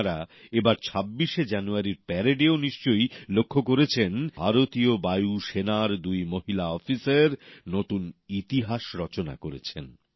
আপনারা এবার ২৬ শে জানুয়ারির প্যারেডেও নিশ্চয়ই লক্ষ্য করেছেন যেখানে ভারতীয় বায়ুসেনার দুই মহিলা অফিসার নতুন ইতিহাস রচনা করেছেন